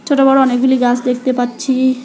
ছোট বড়ো অনেকগুলি গাছ দেখতে পাচ্ছি।